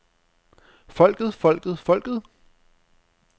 folket folket folket